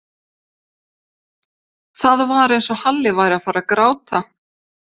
Það var eins og Halli væri að fara að gráta.